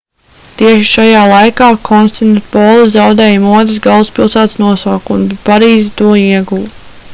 tieši šajā laikā konstantinopole zaudēja modes galvaspilsētas nosaukumu bet parīze to ieguva